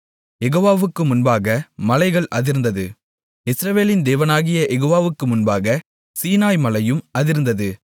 யெகோவாவுக்கு முன்பாக மலைகள் அதிர்ந்தது இஸ்ரவேலின் தேவனாகிய யெகோவாவுக்கு முன்பாக சீனாய் மலையும் அதிர்ந்தது